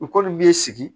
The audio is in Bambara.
U kɔni b'i sigi